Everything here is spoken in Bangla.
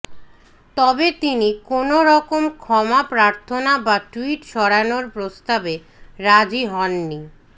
তবে তিনি কোনওরকম ক্ষমা প্রার্থনা বা টুইট সরানোর প্রস্তাবে রাজি হননি